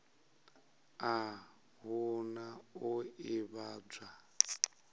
a hu na u ḓivhadzwa